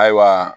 Ayiwa